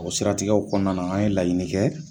O siratigɛw kɔnɔna la an ye laɲini kɛ